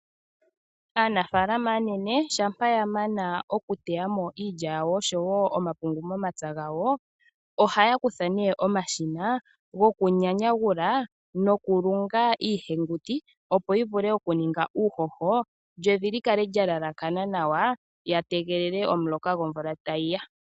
Aanafaalama aanene shampa ya mana okuteya mo iilya yawo oshowo omapungu momapya gawo, ohaya kutha omashina gokunyanyagula nokulunga iihenguti, opo yi vule okuninga uuhoho, lyo evi li kale lya elakana nawa ya tegelele omuloka gomumvo gwa landula ko.